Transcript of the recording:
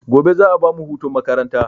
Gobe za a bamu hutun makaranta